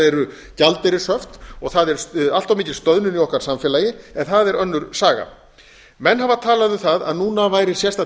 eru gjaldeyrishöft og það er allt of mikil stöðnun í okkar samfélagi en það er önnur saga menn hafa talað um það að núna væri sérstakt